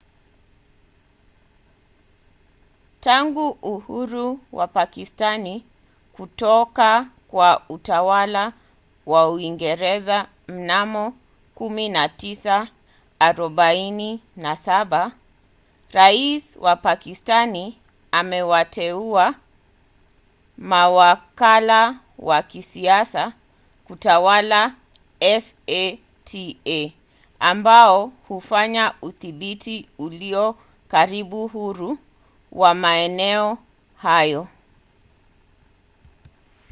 tangu uhuru wa pakistani kutoka kwa utawala wa uingereza mnamo 1947 rais wa pakistani amewateua mawakala wa kisiasa kutawala fata ambao hufanya udhibiti ulio karibu huru wa maeneo hayo